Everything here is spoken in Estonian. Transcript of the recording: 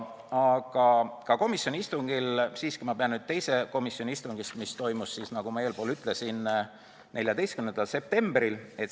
Aga siiski pean nüüd rääkima teisest komisjoni istungist, mis toimus, nagu ma eespool ütlesin, 14. septembril.